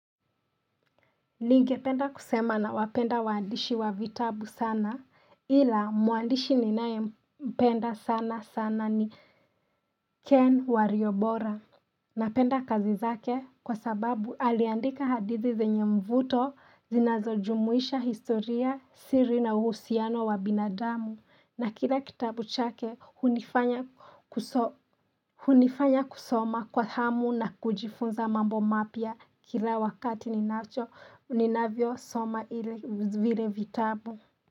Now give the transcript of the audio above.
Ningependa kusema nawapenda waandishi wa vitabu sana ila mwandishi ninayempenda sana sana ni Ken wariobora Napenda kazi zake kwa sababu aliandika hadithi zenye mvuto zinazojumuisha historia siri na uhusiano wa binadamu na kila kitabu chake hunifanya kusoma kwa hamu na kujifunza mambo mapya kila wakati ninacho ninavyosoma vile vitabu.